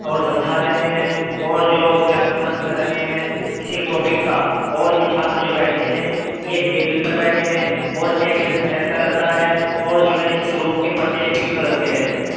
और समझा रहे है और जो व्याख्यान कर रहे है किसी टॉपिक का और ये छात्र जो बैठे है ये टेबल पर बैठे है और टेबल सफ़ेद कलर का है और जो है इस रूम के परदे पिंक कलर के है।